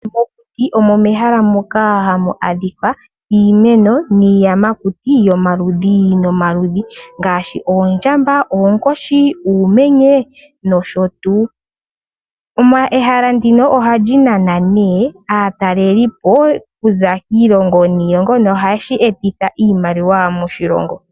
Mokuti omo mehala moka hamu adhikwa iimeno niiyamakuti yomaludhi nomaludhi ngaashi Oondjamba, Oonkoshi, Uumenye nosho tuu. Ehala ndino ohali nana nee aataleli po okuza kiilongo niilongo, nohashi eta iimaliwa moshilongo.